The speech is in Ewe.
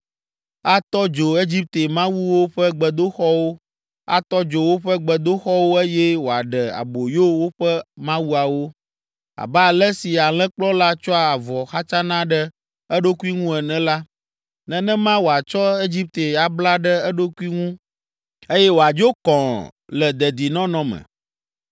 Atɔ dzo Egipte mawuwo ƒe gbedoxɔwo, atɔ dzo woƒe gbedoxɔwo eye wòaɖe aboyo woƒe mawuawo. Abe ale si alẽkplɔla tsɔa avɔ xatsana ɖe eɖokui ŋu ene la, nenema wòatsɔ Egipte abla ɖe eɖokui ŋu eye wòadzo kɔ̃ɔ le dedinɔnɔ me.